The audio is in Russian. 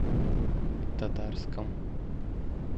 татарском